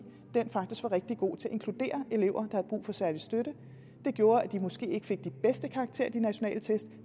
den faktisk var rigtig god til at inkludere elever havde brug for særlig støtte det gjorde at den måske ikke fik de bedste karakterer i de nationale test